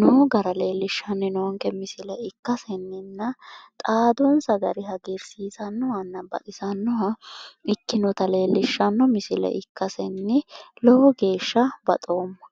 no gara leellishshann noonke misile ikkasenninna xaadonsa gari hagiirsiisannohanna ikkinota leellishshanno misile ikkasenni lowo geeshsha baxoomma .